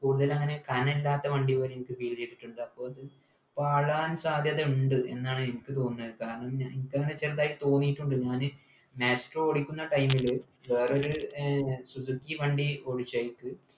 കൂടുതലങ്ങനെ കനല്ലാത്ത വണ്ടി പോലെ എനിക്ക് feel ചെയ്തിട്ടുണ്ട് അപ്പൊ അത് പാളാൻ സാധ്യതയുണ്ട് എന്നാണ് എനിക്ക് തോന്നുന്നത് കാരണം എനിക്കങ്ങനെ ചെറുതായി തോന്നിട്ടുണ്ട് ഞാന് maestro ഓടിക്കുന്ന time ല് വേറൊരു ഏർ സുസുക്കി വണ്ടി ഓടിച്ചു